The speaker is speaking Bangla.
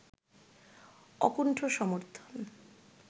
অকুণ্ঠ সমর্থন